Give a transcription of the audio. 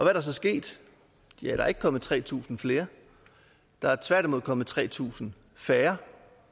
er der så sket ja der er ikke kommet tre tusind flere der er tværtimod kommet tre tusind færre